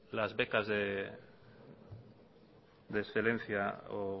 la becas de excelencia o